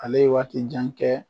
Ale ye waati jan kɛ